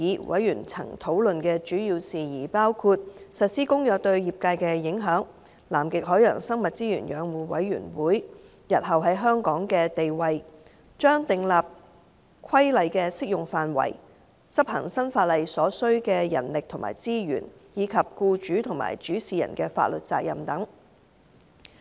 委員曾討論的主要事宜包括：實施《公約》對業界的影響、南極海洋生物資源養護委員會日後在香港的地位、將訂立的規例的適用範圍、執行新法例所需的人力及資源，以及僱主及主事人的法律責任等。